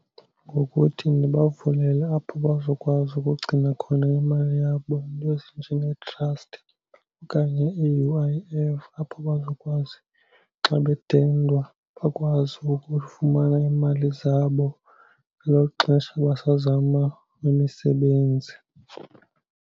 Ngokuthi ndibavulele apho bazokwazi ukugcina khona imali yabo, iinto ezinjengee-trust okanye i-U_I_F, apho bazokwazi xa bedendwa bakwazi ukufumana iimali zabo ngelo xesha basazama imisebenzi.